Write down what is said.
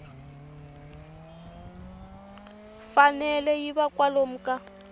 fanele yi va kwalomu ka